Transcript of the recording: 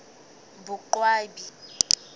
boqwabi